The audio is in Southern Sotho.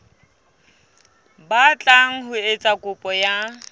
batlang ho etsa kopo ya